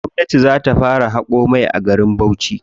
Gwamnati za ta fara haƙo mai a garin Bauchi.